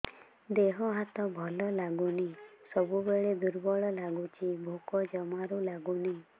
ଦେହ ହାତ ଭଲ ଲାଗୁନି ସବୁବେଳେ ଦୁର୍ବଳ ଲାଗୁଛି ଭୋକ ଜମାରୁ ଲାଗୁନି